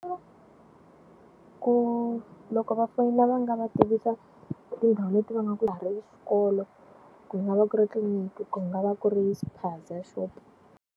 Ku loko va fonela va nga va tivisa tindhawu leti va nga ku nga va ku ri tliliniki ku nga va ku ri spaza shop.